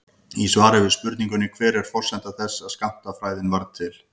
Í svari við spurningunni Hver er forsenda þess að skammtafræðin varð til?